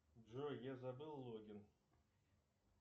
джой я забыл логин